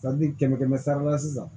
kɛmɛ kɛmɛ sara la sisan